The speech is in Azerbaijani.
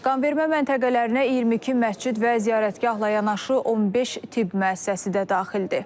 Qanvermə məntəqələrinə 22 məscid və ziyarətgahla yanaşı 15 tibb müəssisəsi də daxildir.